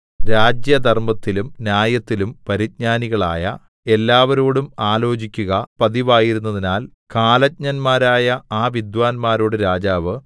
രാജ്യധർമ്മത്തിലും ന്യായത്തിലും പരിജ്ഞാനികളായ എല്ലാവരോടും ആലോചിക്കുക പതിവായിരുന്നതിനാൽ കാലജ്ഞന്മാരായ ആ വിദ്വാന്മാരോട് രാജാവ്